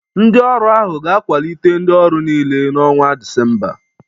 Ndị ọrụ ahụ ga-akwalite ndị ọrụ niile n'ọnwa Disemba